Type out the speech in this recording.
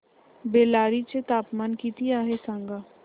बेल्लारी चे तापमान किती आहे सांगा